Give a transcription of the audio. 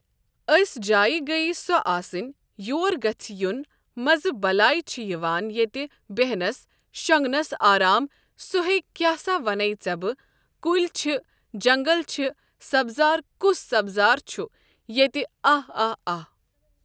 أسۍ جاے گٔیے سۄ آسٕنۍ یور گَژھِ یُن مَزٕ بَلاے چھِ یِوان ییٚتہِ بیٚہنَس شۄنٛگنَس آرام ,سُہ ہے کیاہ سا وَنَے ژےٚ بہٕ کُلۍ چھِ جنٛگل چھِ سبزار کُس سبزار چھُ ییٚتہِ آہ آہ آہ۔